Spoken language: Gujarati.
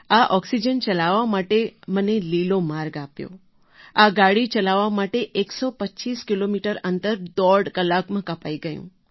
આ ઑક્સિજન ચલાવવા માટે મને લીલો માર્ગ આપ્યો આ ગાડી ચલાવવા માટે ૧૨૫ કિલોમીટર અંતર દોઢ કલાકમાં કપાઈ ગયું